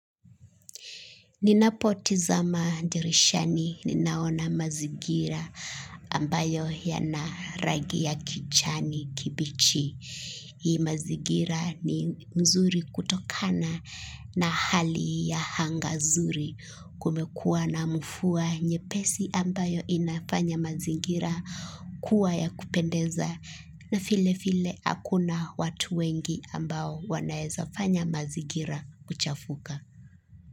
Ninapotizama dirishani ninaona mazigira ambayo yanaragi ya kichani kibichi. Hii mazigira ni mzuri kutokana na hali ya hangazuri kumekua na mufua nyepesi ambayo inafanya mazigira kuwa ya kupendeza na file file akuna watu wengi ambao wanaezafanya mazigira kuchafuka.